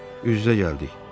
Üz-üzə gəldik.